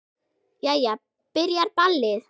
Jæja. byrjar ballið!